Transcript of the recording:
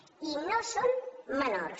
i no són menors